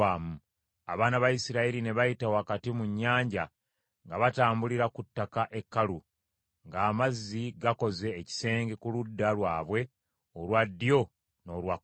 Abaana ba Isirayiri ne bayita wakati mu nnyanja nga batambulira ku ttaka ekkalu, ng’amazzi gakoze ekisenge ku ludda lwabwe olwa ddyo n’olwa kkono.